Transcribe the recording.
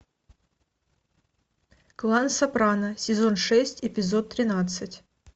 клан сопрано сезон шесть эпизод тринадцать